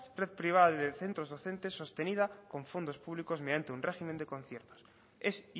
red privada de centros docentes sostenida con fondos públicos mediante un régimen de conciertos es